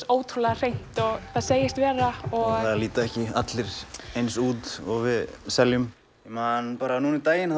ótrúlega hreint og það segist vera og það líta ekki allir eins út og við seljum ég man bara um daginn